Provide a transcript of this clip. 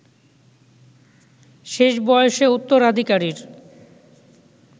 শেষ বয়সে উত্তরাধিকারীর